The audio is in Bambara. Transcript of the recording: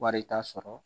Wari ta sɔrɔ